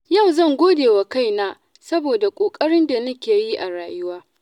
Yau zan gode wa kaina saboda ƙoƙarin da nake yi a rayuwa.